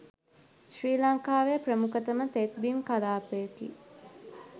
ශ්‍රී ලංකාවේ ප්‍රමුඛතම තෙත්බිම් කලාපයකි